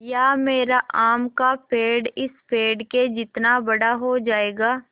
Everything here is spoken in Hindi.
या मेरा आम का पेड़ इस पेड़ के जितना बड़ा हो जायेगा